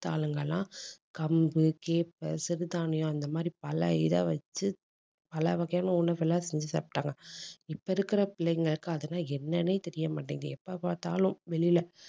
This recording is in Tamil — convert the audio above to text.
மத்த ஆளுங்க எல்லாம் கம்பு கேப்பை சிறுதானியம், இந்த மாதிரி பல இதை வச்சு பல வகையான உணவுகளை செஞ்சு சாப்பிட்டாங்க இப்ப இருக்கிற பிள்ளைங்களுக்கு அதெல்லாம் என்னன்னே தெரிய மாட்டேங்குது. எப்ப பார்த்தாலும் வெளியில